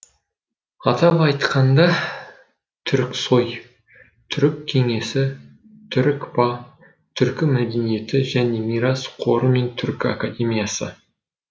атап айтқанда түріксои түрік кеңесі түрікпа түркі мәдениеті және мирас қоры мен түркі академиясы